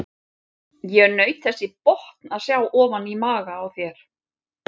Ég naut þess í botn að sjá ofan í maga á þér.